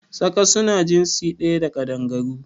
Tsaka su na jinsi ɗaya da Ƙaɗangaru